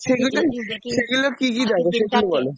সেগুলো কী কী দেখো সেটা বলো